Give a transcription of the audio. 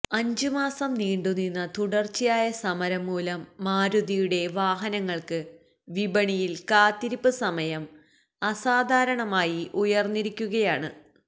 അഞ്ച് മാസം നീണ്ടു നിന്ന തുടര്ച്ചയായ സമരം മൂലം മാരുതിയുടെ വാഹനങ്ങള്ക്ക് വിപണിയില് കാത്തിരിപ്പ് സമയം അസാധാരണമായി ഉയര്ന്നിരിക്കുകയാണ്